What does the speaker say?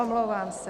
Omlouvám se.